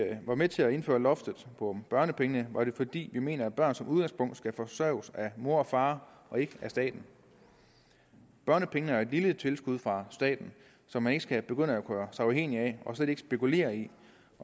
med til at indføre loftet på børnepengene var det fordi vi mente at børn som udgangspunkt skal forsørges af mor og far og ikke af staten børnepengene er jo et lille tilskud fra staten som man ikke skal begynde at gøre sig afhængig af og slet ikke skal spekulere i